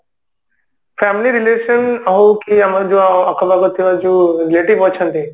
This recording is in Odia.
family relation ଆଉ ଯେ କି ଆମର ଯୋଉ ଆଖପାଖରେ ଥିବା ଯୋଉ relative ଅଛନ୍ତି